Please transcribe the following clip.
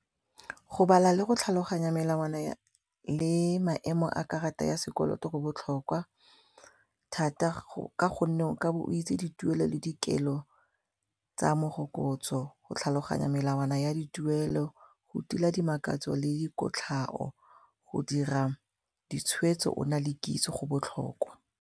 Go bala le go tlhaloganya melawana le maemo a karata ya sekoloto go botlhokwa thata ka gonne o ka be o itse dituelo le dikelo tsa morokotso go tlhaloganya melawana ya dituelo go tila dimakatso le dikotlhao go dira ditshwetso ona le kitso go botlhokwa.